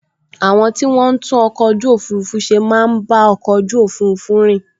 Àwọn tí wọ́n n tún ọkọ̀ ojú òfurufú ṣe máa n bá ọkọ̀ ojú òfurufú rìn